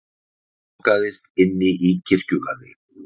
Lokaðist inni í kirkjugarði